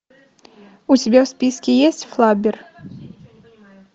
у тебя в списке есть флаббер